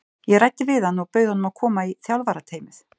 Ég ræddi við hann og bauð honum að koma í þjálfarateymið.